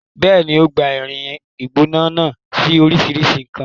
Bẹ́ẹ̀ni, o gbá irin gbígbóná náà sí oríṣìíríṣìí nǹkan.